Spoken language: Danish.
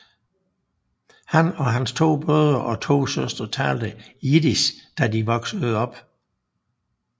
Han og hans to brødre og to søstre talte Jiddisch da de voksede op